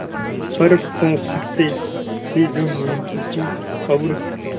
पर पौ फटते ही जो नींद टूटी और